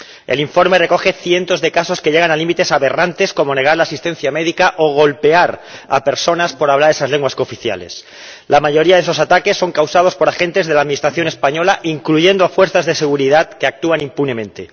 El informe recoge cientos de casos que llegan a límites aberrantes, como negar la asistencia médica o golpear a personas por hablar esas lenguas cooficiales. La mayoría de esos ataques son causados por agentes de la Administración española, incluyendo a fuerzas de seguridad, que actúan impunemente.